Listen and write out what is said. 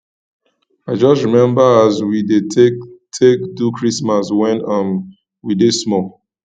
i just rememba as we dey take take do christmas wen um we dey small